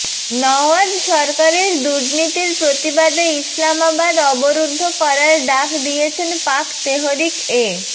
নওয়াজ সরকারের দুর্নীতির প্রতিবাদে ইসলামাবাদ অবরুদ্ধ করার ডাক দিয়েছেন পাক তেহরিক এ